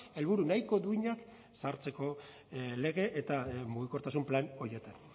helburu nahiko duinak sartzeko lege eta mugikortasun plan horietan